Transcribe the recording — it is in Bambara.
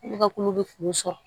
Ne ka kulo bɛ kun sɔrɔ